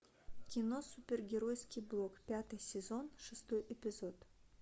кино супергеройский блог пятый сезон шестой эпизод